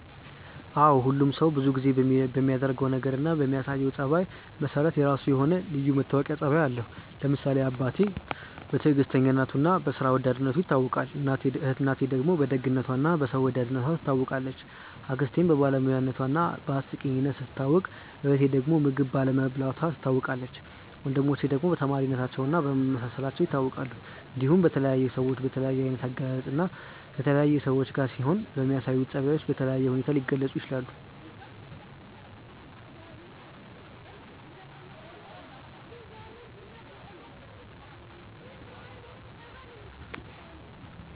አዎ ሁሉም ሰው ብዙ ጊዜ በሚያደርገው ነገር እና በሚያሳየው ጸባይ መሰረት የራሱ የሆነ ልዩ መታወቂያ ጸባይ አለው። ለምሳሌ አባቴ በትዕግስተኝነቱ እና በስራ ወዳድነቱ ይታወቃል፣ እናቴ ደግሞ በደግነቷ እና በሰው ወዳድነቷ ትታወቃለች፣ አክስቴም በባለሙያነቷ እና በአስቂኝነቷ ስትታወቅ እህቴ ዳግም ምግብ ባለመብላቷ ትታወቃለች፣ ወንድሞቼ ደግሞ በተማሪነታቸው እና በመመሳሰላቸው ይታወቃሉ። እንዲሁም በተለያዩ ሰዎች በተለያየ አይነት አገላለጽ እና ከተለያዩ ሰዎች ጋር ሲሆኑ በሚያሳዩአቸው ጸባዮች በተለየ ሁኔታ ሊገለጹ ይችላል።